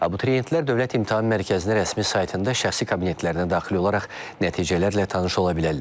Abituriyentlər Dövlət İmtahan Mərkəzinin rəsmi saytında şəxsi kabinetlərinə daxil olaraq nəticələrlə tanış ola bilərlər.